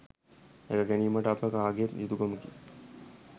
රැක ගැනීමට අප කාගේත් යුතුකමකි